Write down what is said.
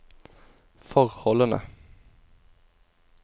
forholdene